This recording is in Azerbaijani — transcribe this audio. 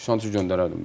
Canan kimi göndərərdim.